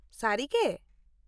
ᱥᱟᱹᱨᱤᱜᱮ !?